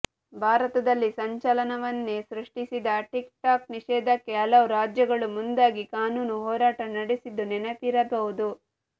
ಭಾರತದಲ್ಲಿ ಸಂಚಲನವನ್ನೇ ಸೃಷ್ಟಿಸಿದ ಟಿಕ್ ಟಾಕ್ ನಿಷೇಧಕ್ಕೆ ಹಲವು ರಾಜ್ಯಗಳು ಮುಂದಾಗಿ ಕಾನೂನು ಹೋರಾಟ ನಡೆಸಿದ್ದು ನೆನಪಿರಬಹುದು